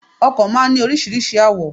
Ọkò máa n ní oríṣiríṣi àwò